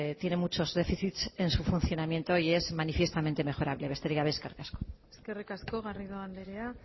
tiene muchos déficits en su funcionamiento y es manifiestamente mejorable besterik gabe eskerrik asko eskerrik asko garrido andrea